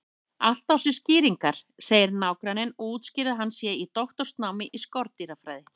Allt á sér skýringar, segir nágranninn og útskýrir að hann sé í doktorsnámi í skordýrafræði.